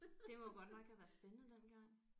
Det må godt nok have været spændende dengang